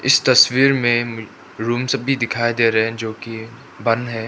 इस तस्वीर में रूम सब भी दिखाई दे रहे हैं जो कि बंद है।